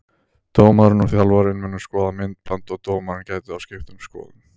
Dómarinn og þjálfarinn munu skoða myndband og dómarinn gæti þá skipt um skoðun.